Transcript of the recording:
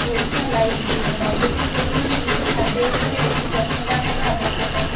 Odisha live bureau diabetes ରୋଗୀମାନେ ନିଜ ଖାଦ୍ୟ ଉପରେ ବେଶୀ ଯତ୍ନବାନ ହେବା ଆବଶ୍ୟକ